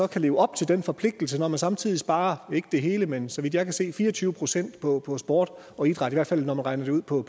kan leve op til den forpligtelse når man samtidig sparer ikke det hele men så vidt jeg kan se fire og tyve procent på på sport og idræt i hvert fald når man regner det ud på